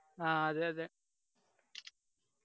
ആ അതെ അതെ